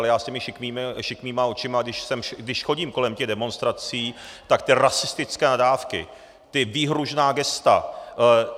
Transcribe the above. Ale já s těma šikmýma očima, když chodím kolem těch demonstrací, tak ty rasistické nadávky, ta výhružná gesta.